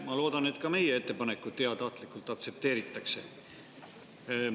Ma loodan, et ka meie ettepanekut heatahtlikult aktsepteeritakse.